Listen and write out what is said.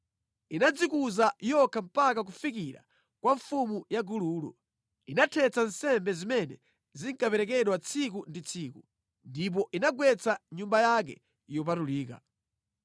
Inadzikuza yokha mpaka kufikira kwa mfumu ya gululo: inathetsa nsembe zimene zinkaperekedwa tsiku ndi tsiku, ndipo inagwetsa nyumba yake yopatulika.